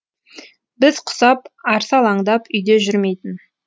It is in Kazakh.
біз құсап арсалаңдап үйде жүрмейтін